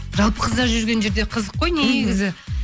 жалпы қыздар жүрген жерде қызық қой негізі